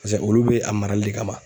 Pase olu bɛ a marali de kama.